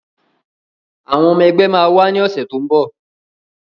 Àwọn ọmọ ẹgbẹ́ máa wá ní ọ̀sẹ̀ tó ń bọ̀